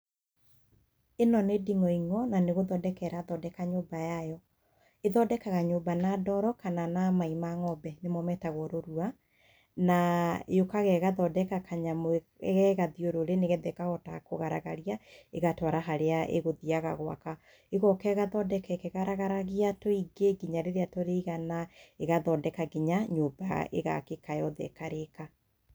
Ĩno nĩ ndingoing'o, na nĩgũthondeka ĩrathondeka nyũmba yayo. ĩthondekaga nyũmba na ndoro kana na mai ma ng'ombe, nĩ mo metatwo rũrua. Na yũkaga ĩgathondeka kanyamũ ge gathiũrũrĩ nĩgetha ikahota kũgaragaria, ĩgatwara harĩa ĩgũthiaga gũaka. ĩgoka ĩgathondeka ĩkĩgaragaragia tũingĩ nginya rĩrĩa tũrĩigana, ĩgathondeka nginya nyũmba ĩgaakĩka yothe ĩkarĩka.